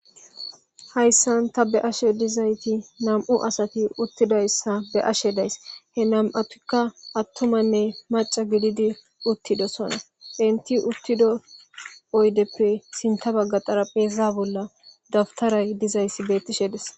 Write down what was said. Hayssan ta be'ashe dizayti nam'u asati uttidayssa be'ashe days; he nam'atikka attumanne macca gididi uttidosona entti uttido oydeppe sinththa bagga xarapheza bolla dawtare dizayssi beetishe de'es.